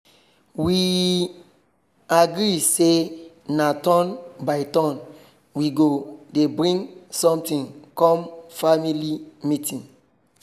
we agree say na turn by turn we go dey bring something come family meeting